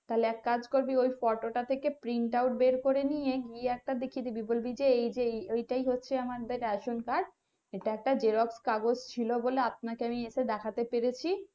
তাহলে এক কাজ করবি ওই photo টা থেকে print out বের করে নিয়ে গিয়ে একটা দেখিয়ে দিবি বলবি যে এই যে এইটাই হচ্ছে আমাদের রেশন কার্ড xerox কাগজ ছিল বলে আপনাকে নিয়ে তো দেখাতে পেরেছি